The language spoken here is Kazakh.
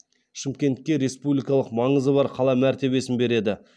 шымкентке республикалық маңызы бар қала мәртебесін береді